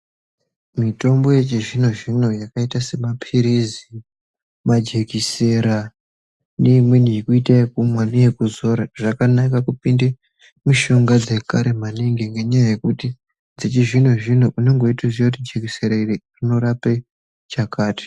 Mitombo yechizvino zvino iri kuita semapirizi majekiseni neimweni yekuita yekumwa neye kuzora zvakanakabkuounda mushonga yechizvino ngenda yekuti unenge weiziva kuti jekiseni iri rinorapa chakati.